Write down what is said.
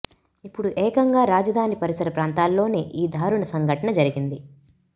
ఇప్పుడు ఏకంగా రాజధాని పరిసర ప్రాంతాల్లోనే ఈ దారుణ సంఘటన జరిగింది